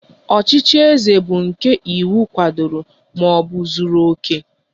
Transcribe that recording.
Ọchịchị eze bu nke iwu kwadoro maọbụ zuru oke